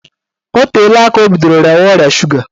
Ọ teela aka o bidoro rịawa ọrịa suga